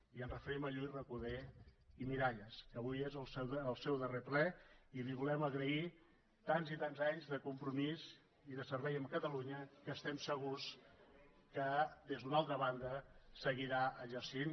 i ens referim a lluís recoder i miralles que avui és el seu darrer ple i li volem agrair tants i tants anys de compromís i de servei a catalunya que estem segurs que des d’una altra banda seguirà exercint